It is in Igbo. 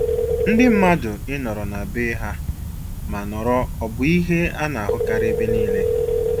Ndị mmadụ ị nọrọ na na bee ha ma nọrọ ọ bụ ihe ana-ahụkarị ebe niile.